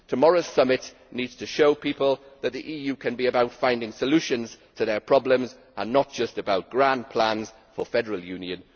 Tomorrow's summit needs to show people that the EU can be about finding solutions to their problems and not just about grand plans for federal union.